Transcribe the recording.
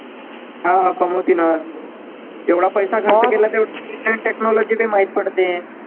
हा कमवतीनच एवढा पैसा खर्च केला तेवढी technology बी माहित पडते.